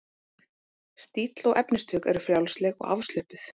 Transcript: Stíll og efnistök eru frjálsleg og afslöppuð.